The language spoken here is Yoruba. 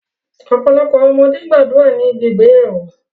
Ọpọlọpọ awọn ọmọde gbadura ni ibi igbeyawo